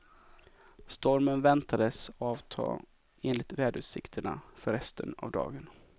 Stormen väntades avta enligt väderutsikterna för resten av dagen.